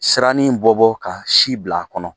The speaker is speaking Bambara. Sirannin in bɔ bɔ ka si bila a kɔnɔ.